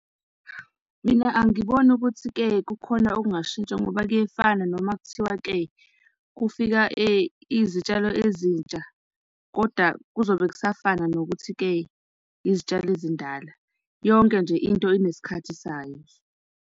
Mina angiboni ukuthi-ke kukhona okungashintsha ngoba kuyefana noma kuthiwa-ke kufika izitshalo ezintsha kodwa kuzobe kusafana nokuthi-ke izitshalo ezindala. Yonke nje into inesikhathi sayo nje.